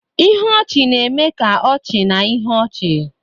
Ihe ọchị na-eme ka ọchị na ihe ọchị